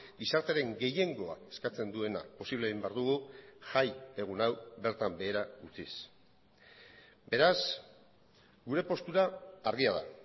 gizartearen gehiengoa eskatzen duena posible egin behar dugu jaiegun hau bertan behera utziz beraz gure postura argia da